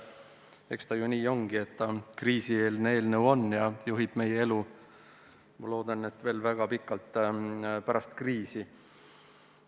Eks ta ju nii ongi, et see on kriisieelne eelnõu ja juhib meie elu, ma loodan, veel väga pikalt pärast kriisi.